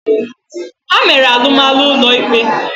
Ha mere alụmalụ ụlọ ikpe.